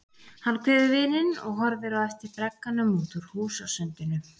Hann kveður vininn og horfir á eftir bragganum út úr húsasundinu.